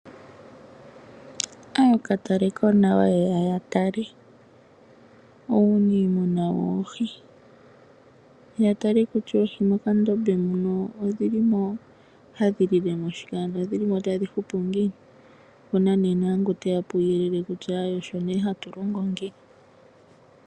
Ookatalekonawa ye ya ya tale uunimuna woohi. Ya tale kutya oohi mokandombe muno odhi li mo hadhi lile mo shike, odhi li mo tadhi hupu ngiini. Opu na nduno ngoka he ya puuyelele kutya osho hatu longo nge.